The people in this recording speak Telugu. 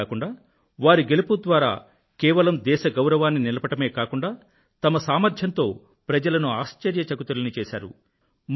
అంతేకాకుండా వారి గెలుపు ద్వారా కేవలం దేశ గౌరవాన్ని నిలపడమే కాకుండా తమ సామర్థ్యంతో ప్రజలను ఆశ్చర్యచకితులని చేశారు